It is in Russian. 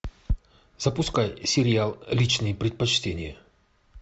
запускай сериал личные предпочтения